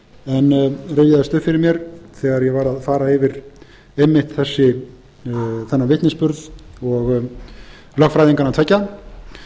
en rifjaðist upp fyrir mér þegar ég var að fara yfir einmitt þennan vitnisburð lögfræðinganna tveggja